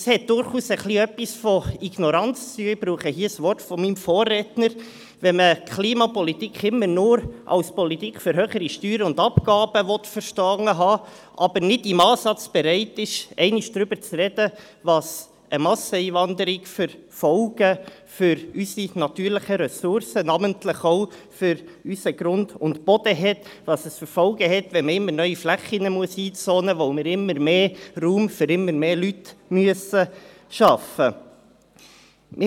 Es hat durchaus etwas mit Ignoranz zu tun, wenn man – um ein Wort eines Vorredners zu verwenden – die Klimapolitik immer nur als «Politik für höhere Steuern und Abgaben» verstanden haben will, aber nicht im Ansatz bereit ist, einmal darüber zu sprechen, welche Folgen eine Masseneinwanderung für unsere natürlichen Ressourcen, namentlich für unseren Grund und Boden, hat, und welche Folgen es hat, wenn man immer neue Flächen einzonen muss, weil wir immer mehr Raum für immer mehr Leute schaffen müssen.